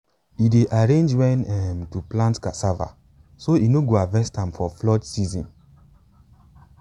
e dey arrange when um to plant cassava so e no go harvest am for flood season.